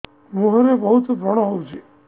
ମୁଁହରେ ବହୁତ ବ୍ରଣ ହଉଛି